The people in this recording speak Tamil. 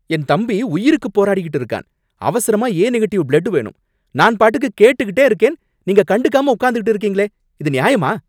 என் தம்பி உயிருக்கு போராடிகிட்டு இருக்கான். அவசரமா ஏ நெகட்டிவ் பிளட் வேணும். நான் பாட்டுக்கு கேட்டுகிட்டே இருக்கேன். நீங்க கண்டுக்காம உக்காந்துகிட்டே இருக்கீங்களே இது நியாயமா